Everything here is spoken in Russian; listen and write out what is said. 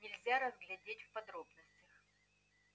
нельзя разглядеть в подробностях